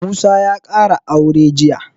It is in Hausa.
Musa ya ƙara aure jiya